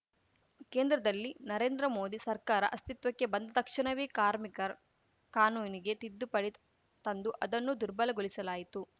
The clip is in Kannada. ಕೇಂದ್ರದಲ್ಲಿ ನರೇಂದ್ರ ಮೋದಿ ಸರ್ಕಾರ ಅಸ್ತಿತ್ವಕ್ಕೆ ಬಂದ ತಕ್ಷಣವೇ ಕಾರ್ಮಿಕರ್ ಕಾನೂನಿಗೆ ತಿದ್ದುಪಡಿ ತಂದು ಅದನ್ನು ದುರ್ಬಲಗೊಳಿಸಲಾಯಿತು